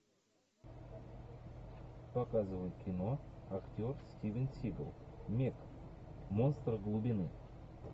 показывай кино актер стивен сигал мег монстр глубины